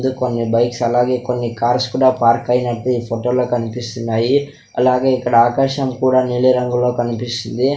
కొన్ని బైక్స్ అలాగే కొన్ని కార్స్ కూడా పార్క్ అయినట్టు ఈ ఫోటో లో కన్పిస్తున్నాయి అలాగే ఇక్కడ ఆకాశం కూడా నీలి రంగులో కన్పిస్తుంది .